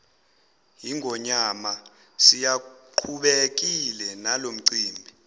yingonyama siyaqhubekile nalomcimbi